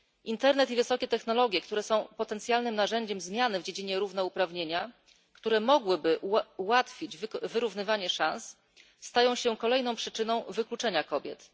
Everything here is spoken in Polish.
Internet i wysokie technologie, które są potencjalnym narzędziem zmiany w dziedzinie równouprawnienia, które mogłyby ułatwić wyrównywanie szans, stają się kolejną przyczyną wykluczenia kobiet.